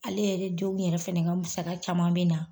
Ale yɛrɛ denw yɛrɛ fɛnɛ ka masaka caman bɛ na